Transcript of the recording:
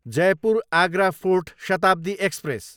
Jaipur, Agra Fort Shatabdi express